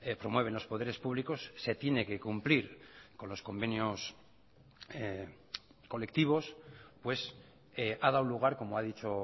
promueven los poderes públicos se tiene que cumplir con los convenios colectivos pues ha dado lugar como ha dicho